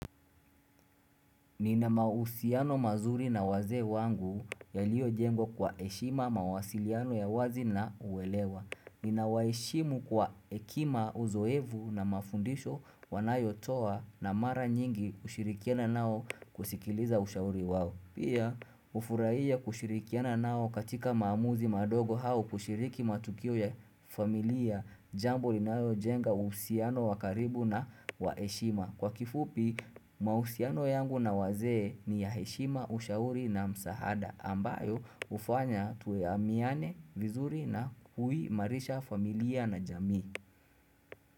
Nina mahusiano mazuri na wazee wangu yaliyo jengwa kwa heshima mawasiliano ya wazi na uelewa. Nina waheshimu kwa hekima uzoefu na mafundisho wanayo toa na mara nyingi kushirikiana nao kusikiliza ushauri wao. Pia hufurahia kushirikiana nao katika maamuzi madogo au kushiriki matukio ya familia jambo inayo jenga uhusiano wa karibu na wa heshima. Kwa kifupi mahusiano yangu na wazee ni ya heshima ushauri na msahada ambayo hufanya tuaminiane, vizuri na kuhimarisha familia na jamii.